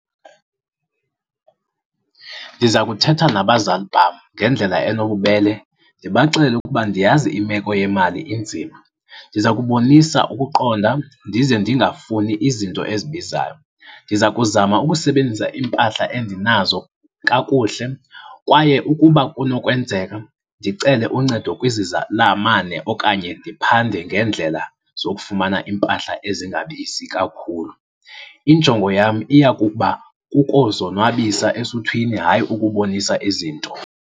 Ndiza kuthetha nabazali bam ngendlela enobubele, ndibaxelele ukuba ndiyazi imeko yemali inzima. Ndiza kubonisa ukuqonda, ndize ndingafuni izinto ezibizayo. Ndiza kuzama ukusebenzisa iimpahla endinazo kakuhle, kwaye ukuba kunokwenzeka ndicele uncedo kwizizalamane okanye ndiphande ngeendlela zokufumana iimpahla ezingabizi kakhulu. Injongo yam iya kuba kukozonwabisa esuthwini, hayi ukubonisa izinto.